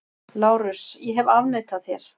LÁRUS: Ég hef afneitað þér!